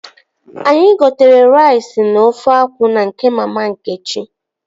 Anyị gotere rais na ofe akwụ na nke mama Nkechi